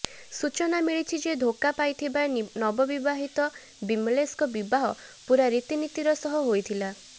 ସୂଚନା ମିଳିଛି ଯେ ଧୋକା ପାଇଥିବା ନିବବିବାହିତ ବିମେଲେଶଙ୍କ ବିବାହ ପୂରା ରୀତିନୀତିର ସହ ହୋଇଥିଲା